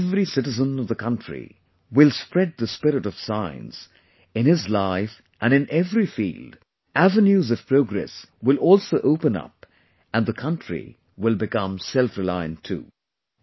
When every citizen of the country will spread the spirit of science in his life and in every field, avenues of progress will also open up and the country will become selfreliant too